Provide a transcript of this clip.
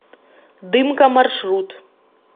дымка маршрут